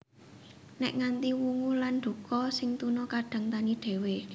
Nèk nganti wungu lan duka sing tuna kadang tani dhéwé